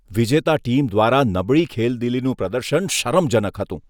વિજેતા ટીમ દ્વારા નબળી ખેલદિલીનું પ્રદર્શન શરમજનક હતું.